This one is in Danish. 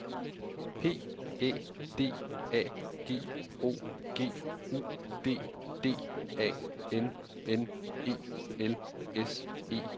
P Æ D A G O G U D D A N N E L S E R